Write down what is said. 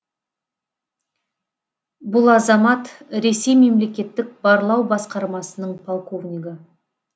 бұл азамат ресей мемлекеттік барлау басқармасының полковнигі